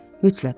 Mütləq.